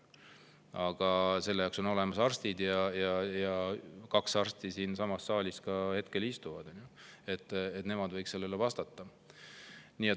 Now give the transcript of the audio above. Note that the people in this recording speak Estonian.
Aga selle jaoks on olemas arstid ja kaks arsti istuvad hetkel ka siinsamas saalis, nemad võiks sellele vastata.